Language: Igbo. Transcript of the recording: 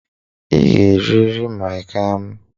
Ị ga-eriri mịan kam.